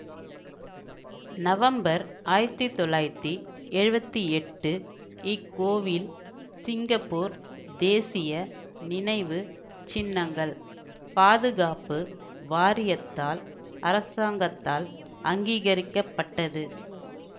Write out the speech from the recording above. November ஆயிரத்தி தொள்ளாயிரத்தி எழுவத்தி எட்டு இக்கோவில் சிங்கப்பூர் தேசிய நினைவு சின்னங்கள் பாதுகாப்பு வாரியத்தால் அரசாங்கத்தால் அங்கீகரிக்கப்பட்டது